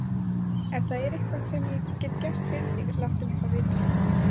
Ef það er eitthvað, sem ég get gert fyrir þig, láttu mig þá vita.